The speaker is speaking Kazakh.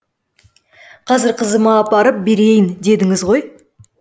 қазір қызыма апарып берейін дедіңіз ғой